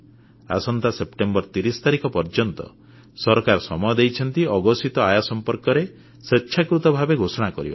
ଆସନ୍ତା ସେପ୍ଟେମ୍ବର 30 ତାରିଖ ପର୍ଯ୍ୟନ୍ତ ସରକାର ସମୟ ଦେଇଛନ୍ତି ଅଘୋଷିତ ଆୟ ସମ୍ପର୍କରେ ସ୍ୱେଚ୍ଛାକୃତ ଭାବେ ଘୋଷଣା କରିବାକୁ